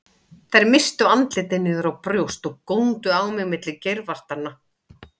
Þær misstu andlitin niður á brjóst og góndu á mig milli geirvartanna.